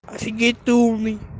офигеть ты умный